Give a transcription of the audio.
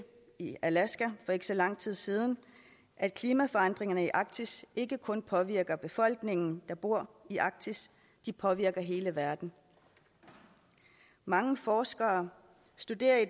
i alaska for ikke så lang tid siden at klimaforandringerne i arktis ikke kun påvirker befolkningen der bor i arktis de påvirker hele verden mange forskere studerer i